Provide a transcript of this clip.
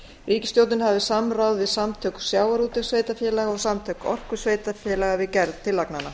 ríkisstjórnin hafi samráð við samtök sjávarútvegssveitarfélaga og samtök orkusveitarfélaga við gerð tillagnanna